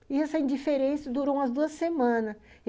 E essa indiferença durou umas duas semanas.